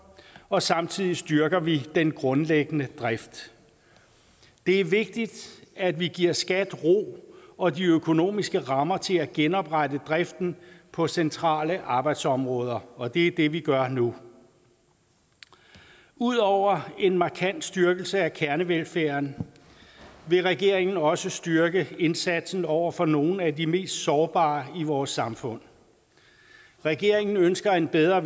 og samtidig styrker vi den grundlæggende drift det er vigtigt at vi giver skat ro og de økonomiske rammer til at genoprette driften på centrale arbejdsområder og det er det vi gør nu udover en markant styrkelse af kernevelfærden vil regeringen også styrke indsatsen over for nogle af de mest sårbare i vores samfund regeringen ønsker en bedre